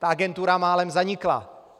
Ta agentura málem zanikla.